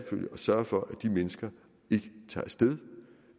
sørge for at de mennesker ikke tager af sted